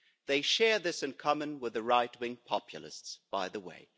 They share this in common with the right wing populists, by the way.